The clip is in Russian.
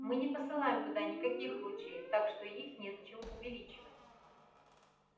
мы не посылаем туда никаких лучей так что их незачем увеличивать